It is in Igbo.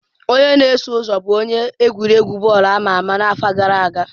Onye na-eso ụzọ bụ onye egwuregwu bọọlụ ama ama afọ gara aga.